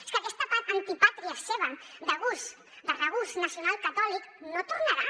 és que aquesta antipàtria seva de regust nacionalcatòlic no tornarà